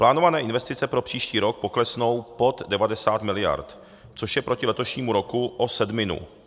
Plánované investice pro příští rok poklesnou pod 90 miliard, což je proti letošnímu roku o sedminu.